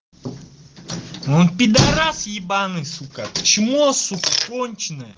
он пидарас ебаный сука чмо сука конченное